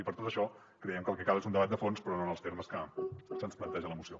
i per tot això creiem que el que cal és un debat de fons però no en els termes que se’ns planteja a la moció